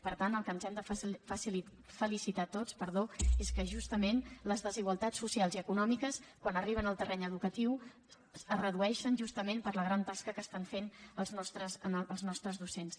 per tant pel que ens hem de felicitar tots és que justament les desigualtats socials i econòmiques quan arriben al terreny educatiu es redueixen justament per la gran tasca que estan fent els nostres docents